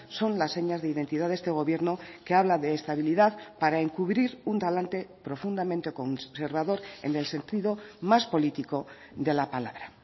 son las señas de identidad de este gobierno que habla de estabilidad para encubrir un talante profundamente conservador en el sentido más político de la palabra